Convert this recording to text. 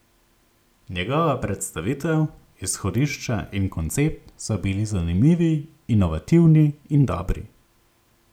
Njegova predstavitev, izhodišča in koncept so bili zanimivi, inovativni in dobri.